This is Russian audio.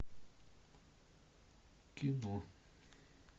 кино